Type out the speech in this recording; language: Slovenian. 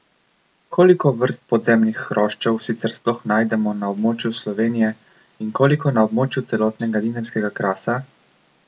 Koliko vrst podzemnih hroščev sicer sploh najdemo na območju Slovenije in koliko na območju celotnega Dinarskega krasa?